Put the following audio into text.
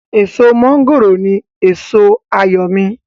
èso mọ́ngòrò ní èso àyò mi